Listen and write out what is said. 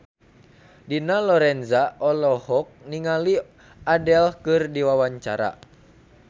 Dina Lorenza olohok ningali Adele keur diwawancara